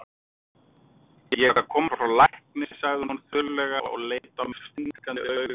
Ég er að koma frá lækni, sagði hún þurrlega og leit á mig stingandi augum.